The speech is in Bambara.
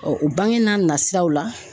o bange n'a nasiraw la